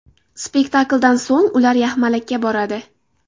Spektakldan so‘ng ular yaxmalakka boradi.